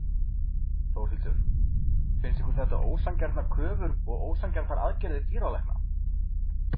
Þórhildur: Finnst ykkur þetta ósanngjarnar kröfur og ósanngjarnar aðgerðir dýralækna?